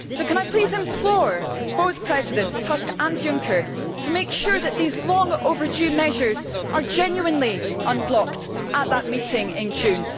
So can I please implore Presidents Tusk and Juncker to make sure that these long over due measures are genuinely unblocked at that meeting in June?